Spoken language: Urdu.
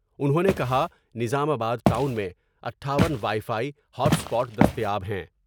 انہوں نے کہا نظام آباد ٹاؤن میں اٹھاون وائی فائی ، ہاٹ اسپاٹ دستیاب ہیں ۔